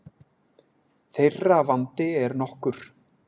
Þeirra vandi er nokkur.